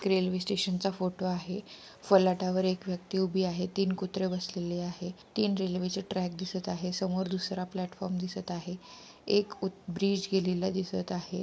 Railway station चा photo आहे फलाटावर एक व्यक्ति उभी आहे तीन कुत्रे बसलेले आहे तीन रेल्वे चे ट्रैक दिसत आहे समोर दूसरा प्लॅटफॉर्म दिसत आहे एक उ ब्रिज गेलेला दिसत आहे.